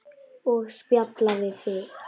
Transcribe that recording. Og spjalla við þig.